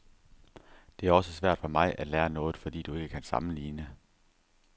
Det er også svært for mig at lære noget, fordi du ikke kan sammenligne.